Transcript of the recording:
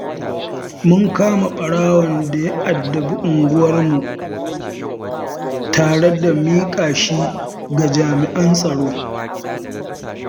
Mun kama ɓarawon da ya addabi unguwarmu, tare da miƙa shi ga jami'an tsaro.